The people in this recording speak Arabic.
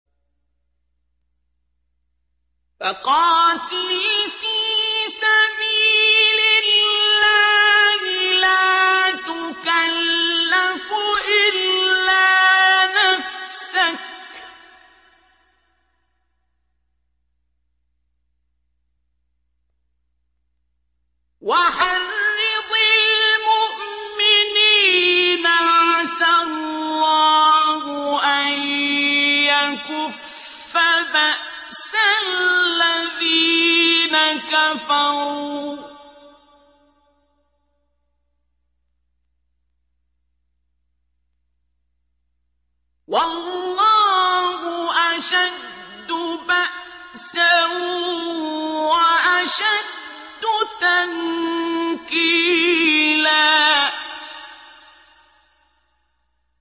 فَقَاتِلْ فِي سَبِيلِ اللَّهِ لَا تُكَلَّفُ إِلَّا نَفْسَكَ ۚ وَحَرِّضِ الْمُؤْمِنِينَ ۖ عَسَى اللَّهُ أَن يَكُفَّ بَأْسَ الَّذِينَ كَفَرُوا ۚ وَاللَّهُ أَشَدُّ بَأْسًا وَأَشَدُّ تَنكِيلًا